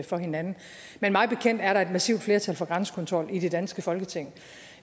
for hinanden men mig bekendt er der et massivt flertal for grænsekontrol i det danske folketing